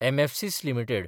Mphasis limited